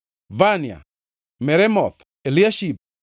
Vania, Meremoth, Eliashib,